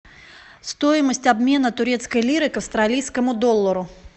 стоимость обмена турецкой лиры к австралийскому доллару